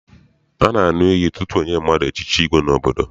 A na-aṅụ iyi tutu enye mmadụ echichi igwe n'obodo.